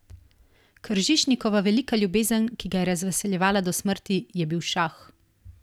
Kržišnikova velika ljubezen, ki ga je razveseljevala do smrti, je bil šah.